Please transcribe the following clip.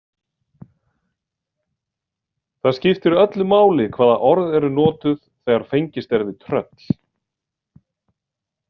Það skiptir öllu máli hvaða orð eru notuð þegar fengist er við tröll.